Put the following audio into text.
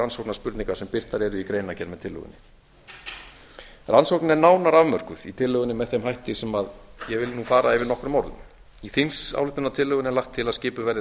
rannsóknarspurninga sem birtar eru í greinargerð með tillögunni rannsóknin er nánar afmörkuð í tillögunni með þeim hætti sem ég vil nú fara yfir nokkrum orðum í þingsályktunartillögunni er lagt til að skipuð verði